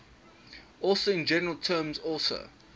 also in general terms also